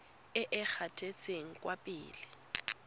e e gatetseng kwa pele